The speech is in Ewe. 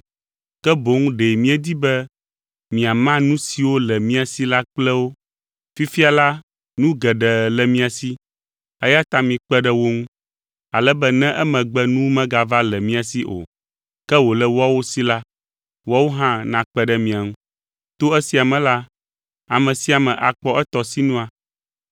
ke boŋ ɖe míedi be miama nu siwo le mia si la kple wo. Fifia la, nu geɖe le mia si, eya ta mikpe ɖe wo ŋu, ale be ne emegbe nu megava le mia si o, ke wòle woawo si la, woawo hã nakpe ɖe mia ŋu. To esia me la, ame sia ame akpɔ etɔ sinua.